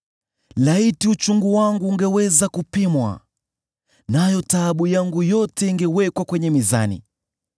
“Laiti uchungu wangu ungeweza kupimwa, nayo taabu yangu yote ingewekwa kwenye mizani!